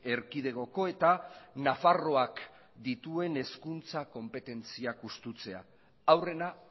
erkidegoko eta nafarroak dituen hezkuntza konpetentziak hustea aurrena